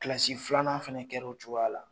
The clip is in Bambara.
Kilasi filanan fana kɛra o cogoya la